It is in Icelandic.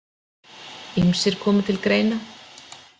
Ýmsir komu til greina.